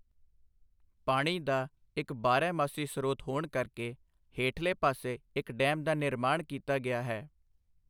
ਪਾਣੀ ਦਾ ਇੱਕ ਬਾਰਹਮਾਸੀ ਸਰੋਤ ਹੋਣ ਕਰਕੇ, ਹੇਠਲੇ ਪਾਸੇ ਇੱਕ ਡੈਮ ਦਾ ਨਿਰਮਾਣ ਕੀਤਾ ਗਿਆ ਹੈ।